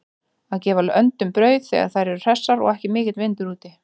Að gefa öndunum brauð þegar þær eru hressar og ekki mikill vindur úti.